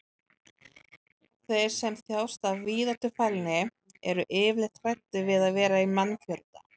þeir sem þjást af víðáttufælni eru yfirleitt hræddir við að vera í mannfjölda